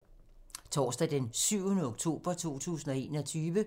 Torsdag d. 7. oktober 2021